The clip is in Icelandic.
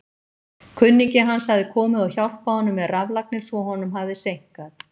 Kunningi hans hafði komið og hjálpað honum með raflagnir svo honum hafði seinkað.